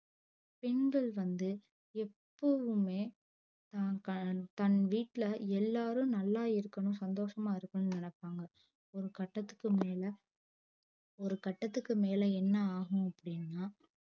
பெண்கள் வந்து எப்போதுவுமே தன் வீட்ல எல்லாரும் நல்லா இருக்கணும் சந்தோஷமா இருக்கணும் நெனைப்பாங்க ஒரு கட்டத்துக்கு மேல ஒரு கட்டத்துக்கு மேல என்ன ஆகும் அப்டின்னா